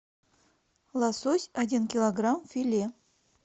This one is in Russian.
лосось один килограмм филе